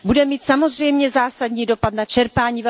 Bude mít samozřejmě zásadní dopad na čerpání.